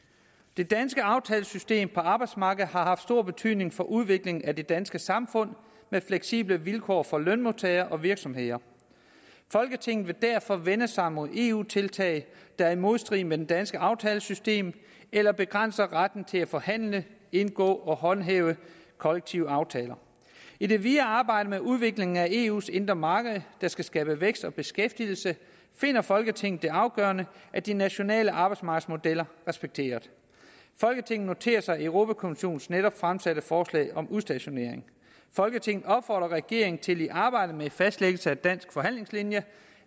det danske aftalesystem på arbejdsmarkedet har haft stor betydning for udviklingen af det danske samfund med fleksible vilkår for lønmodtagere og virksomheder folketinget vil derfor vende sig mod eu tiltag der er i modstrid med det danske aftalesystem eller begrænser retten til at forhandle indgå og håndhæve kollektive aftaler i det videre arbejde med udviklingen af eus indre marked der skal skabe vækst og beskæftigelse finder folketinget det afgørende at de nationale arbejdsmarkedsmodeller respekteres folketinget noterer sig europa kommissionens netop fremsatte forslag om udstationering folketinget opfordrer regeringen til i arbejdet med fastlæggelsen af dansk forhandlingslinje